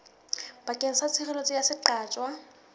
bakeng sa tshireletso ya seqatjwa